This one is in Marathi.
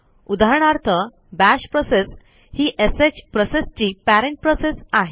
उदाहरणार्थ बाश प्रोसेस ही श प्रोसेसची पेरेंट प्रोसेस आहे